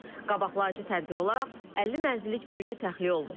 Qabaqlayıcı tədbir olaraq 50 mənzillik bölgə təxliyə olunub.